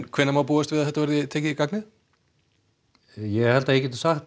hvenær má búast við að það verði komið í gagnið ég held að ég geti sagt